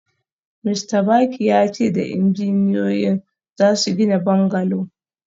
Mista Baki ya ce da injiniyoyin za su gina bungalow